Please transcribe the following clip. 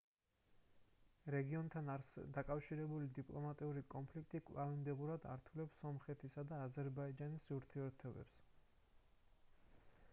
რეგიონთან დაკავშირებული დიპლომატიური კონფლიქტი კვლავინდებურად ართულებს სომხეთისა და აზერბაიჯანის ურთიერთობებს